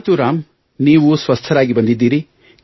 ಆಯ್ತು ರಾಮ್ ನೀವು ಸ್ವಸ್ಥರಾಗಿ ಬಂದಿದ್ದೀರಿ